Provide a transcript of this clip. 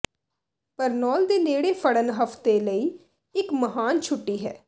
Barnaul ਦੇ ਨੇੜੇ ਫੜਨ ਹਫਤੇ ਲਈ ਇੱਕ ਮਹਾਨ ਛੁੱਟੀ ਹੈ